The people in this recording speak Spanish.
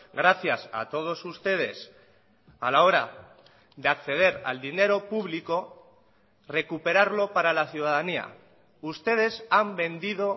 gracias a todos ustedes a la hora de acceder al dinero público recuperarlo para la ciudadanía ustedes han vendido